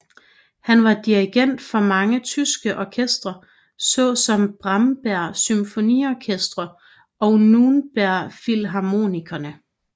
Han var dirigent for mange tyske orkestre såsom Bamberger Symfonikerne og Nürnberger Philharmonikerne